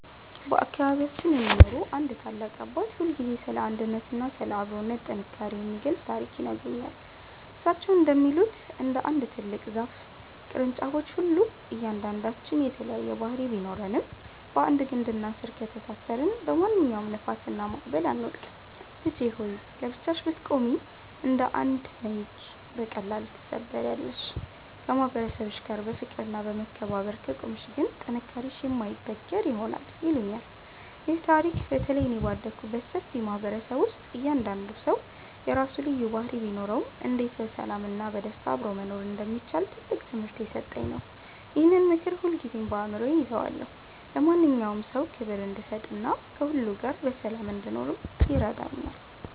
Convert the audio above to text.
በአካባቢያችን የሚኖሩ አንድ ታላቅ አባት ሁልጊዜ ስለ አንድነትና ስለ አብሮነት ጥንካሬ የሚገልጽ ታሪክ ይነግሩኛል። እሳቸው እንደሚሉት፣ እንደ አንድ ትልቅ ዛፍ ቅርንጫፎች ሁሉ እያንዳንዳችን የተለያየ ባህሪ ቢኖረንም፣ በአንድ ግንድና ስር ከተሳሰርን በማንኛውም ንፋስና ማዕበል አንወድቅም። "ልጄ ሆይ! ለብቻሽ ብትቆሚ እንደ አንድ ዘንጊ በቀላሉ ትሰበሪያለሽ፤ ከማህበረሰብሽ ጋር በፍቅርና በመከባበር ከቆምሽ ግን ጥንካሬሽ የማይበገር ይሆናል" ይሉኛል። ይህ ታሪክ በተለይ እኔ ባደግኩበት ሰፊ ማህበረሰብ ውስጥ እያንዳንዱ ሰው የራሱ ልዩ ባህሪ ቢኖረውም፣ እንዴት በሰላምና በደስታ አብሮ መኖር እንደሚቻል ትልቅ ትምህርት የሰጠኝ ነው። ይህንን ምክር ሁልጊዜም በአእምሮዬ እይዘዋለሁ፤ ለማንኛውም ሰው ክብር እንድሰጥና ከሁሉ ጋር በሰላም እንድኖርም ይረዳኛል።